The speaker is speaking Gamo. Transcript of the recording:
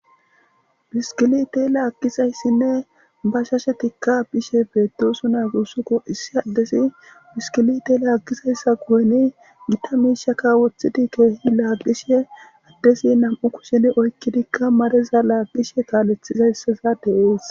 biskilite laaggizayssinne ba shashe tikka bishe beetti usu na gussuko issi addesi biskilite laaggizayssa gu7eni gita miishaka woththidi keehi laaqishe addesi nam7u kusheni oykkidikka mareza laaqqishe kaalethizayssaza de7ees